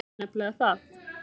Það er nefnilega það.